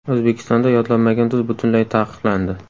O‘zbekistonda yodlanmagan tuz butunlay taqiqlandi.